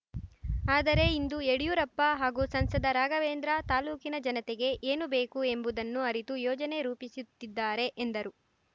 ಆದರೆ ಇಂದು ಯಡಿಯೂರಪ್ಪ ಹಾಗೂ ಸಂಸದ ರಾಘವೇಂದ್ರ ತಾಲೂಕಿನ ಜನತೆಗೆ ಏನು ಬೇಕು ಎಂಬುದನ್ನು ಅರಿತು ಯೋಜನೆ ರೂಪಿಸುತ್ತಿದ್ದಾರೆ ಎಂದರು